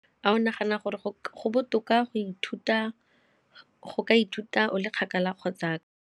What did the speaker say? A o nagana gore go botoka go ka ithuta o le kgakala kgotsa?